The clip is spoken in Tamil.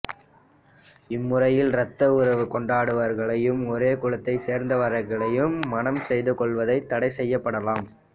இம்முறையில் இரத்த உறவு கொண்டவர்களையும் ஒரே குலத்தைச் சேர்ந்தவர்களையும் மணம் செய்து கொள்வது தடை செய்யப்படலாம்